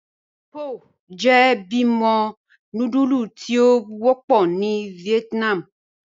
Pho jẹ́ bímo núdúlù tí o wọpọ̀ ni Vietnam.